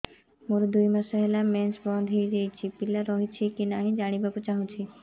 ମୋର ଦୁଇ ମାସ ହେଲା ମେନ୍ସ ବନ୍ଦ ହେଇ ଯାଇଛି ପିଲା ରହିଛି କି ନାହିଁ ଜାଣିବା କୁ ଚାହୁଁଛି